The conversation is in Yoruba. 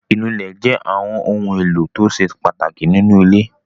Ìnulẹ̀ jẹ́ àwọn ohun-èlò tó ṣe pàtàkì nínú ilé.